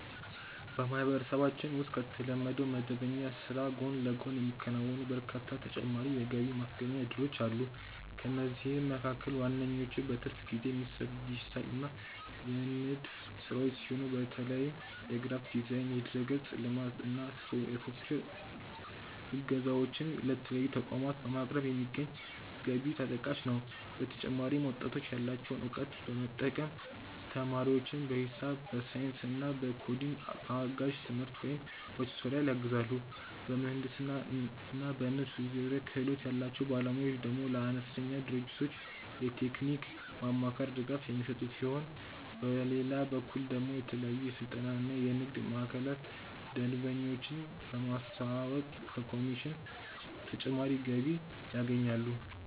በማህበረሰባችን ውስጥ ከተለመደው መደበኛ ስራ ጎን ለጎን የሚከናወኑ በርካታ ተጨማሪ የገቢ ማስገኛ እድሎች አሉ። ከእነዚህም መካከል ዋነኞቹ በትርፍ ጊዜ የሚሰሩ የዲጂታል እና የንድፍ ስራዎች ሲሆኑ፣ በተለይም የግራፊክስ ዲዛይን፣ የድረ-ገጽ ልማት እና የሶፍትዌር እገዛዎችን ለተለያዩ ተቋማት በማቅረብ የሚገኝ ገቢ ተጠቃሽ ነው። በተጨማሪም ወጣቶች ያላቸውን እውቀት በመጠቀም ተማሪዎችን በሂሳብ፣ በሳይንስ እና በኮዲንግ በአጋዥ ትምህርት ወይም በቱቶሪያል ያግዛሉ። በምህንድስና እና በንድፍ ዙሪያ ክህሎት ያላቸው ባለሙያዎች ደግሞ ለአነስተኛ ድርጅቶች የቴክኒክ ማማከር ድጋፍ የሚሰጡ ሲሆን፣ በሌላ በኩል ደግሞ ለተለያዩ የስልጠና እና የንግድ ማዕከላት ደንበኞችን በማስተዋወቅ ከኮሚሽን ተጨማሪ ገቢ ያገኛሉ።